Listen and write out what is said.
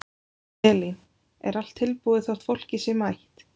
Elín: Er allt tilbúið þótt fólkið sé mætt?